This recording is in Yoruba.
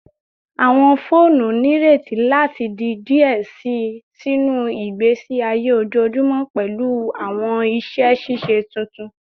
Awọn foonu nireti lati di diẹ sii sinu igbesi aye ojoojumọ pẹlu awọn iṣẹ ṣiṣe tuntun